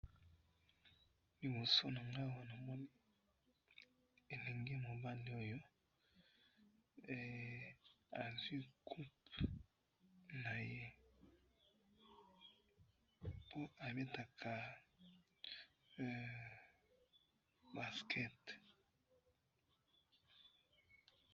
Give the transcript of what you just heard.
liboso nangai awa, namoni elengi mobali oyo, azui coupe naye po abetaka basket